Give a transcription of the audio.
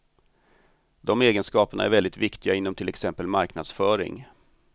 De egenskaperna är väldigt viktiga inom till exempel marknadsföring.